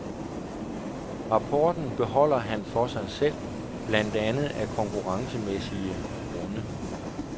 Rapporten beholder han for sig selv, blandt andet af konkurrencemæssige grunde.